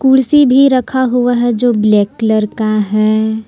कुर्सी भी रखा हुआ है जो ब्लैक कलर का है।